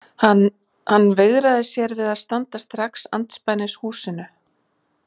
Hann veigraði sér við að standa strax andspænis húsinu.